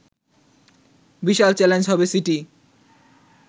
বিশাল challenge হবে city